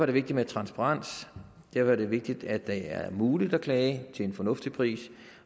det vigtigt med transparens derfor er det vigtigt at det er muligt at klage til en fornuftig pris